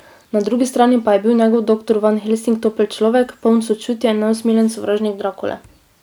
Na drugi strani pa je bil njegov doktor Van Helsing topel človek, poln sočutja, in neusmiljen sovražnik Drakule.